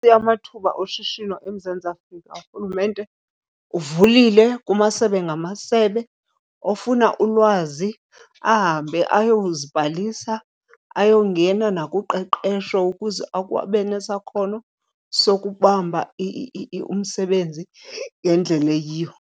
amathuba oshishino eMzantsi Afrika, urhulumente uvulile kumasebe ngamasebe. Ofuna ulwazi ahambe ayozibhalisa, ayongena nakuqeqesho ukuze abe nesakhono sokubamba umsebenzi ngendlela eyiyo.